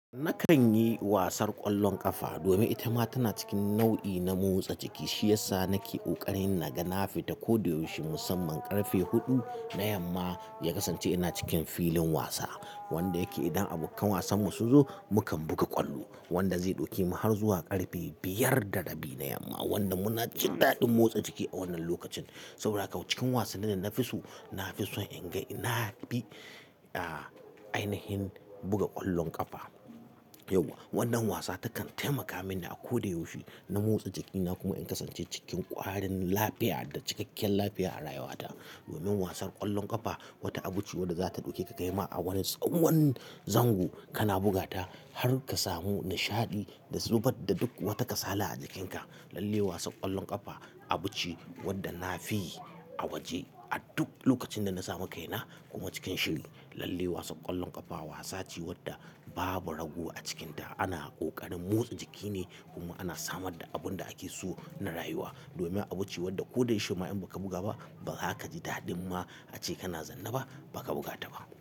Nakan yi wasar ƙwallon ƙafa domin ita ma tana cikin nau'i na motsa jiki shiyasa nake ƙoƙarin na ga na fita kodayaushe musamman ƙarfe huɗu na yamma, ya kasance ina cikin filin wasa wanda yake idan abokan wasan mu sun zo mukan buga ƙwallo wanda zai ɗauke mu har zuwa ƙarfe biyar da rabi na yamma wanda muna jin daɗin motsa jiki a wannan lokacin. Saboda haka cikin wasannin da na fi so, na fi so in ga ina bi a ainihin buga ƙwallon ƙafa. Yawwa wannan wasa takan taimaka mini a kodayaushe na motsa jikina kuma in kasance cikin ƙwarin lafiya da cikakkiyar lafiya a rayuwata. Domin wasan ƙwallon ƙafa wata abuce wadda zata ɗauke ka kai ma a wani tsawon zango kana buga ta har ka samu nishaɗi da zubar da duk wata kasala a jikinka. Lalle wasan ƙwallon ƙafa abuce wadda nafi yi a waje a duk lokacin da na samu kaina kuma cikin shiri. Lalle wasan ƙwallon ƙafa wasa ce wadda babu rago a cikinta ana ƙoƙarin motsa jiki ne kuma ana samarda abin da ake so na rayuwa. Domin abuce wadda ko da yaushe ma in baka buga ba ba za ka ji daɗin ma ace kana zanna ba baka buga ta ba.